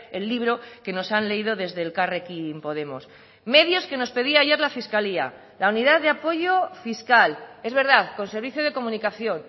el libro que nos han leído desde elkarrekin podemos medios que nos pedía ayer la fiscalía la unidad de apoyo fiscal es verdad con servicio de comunicación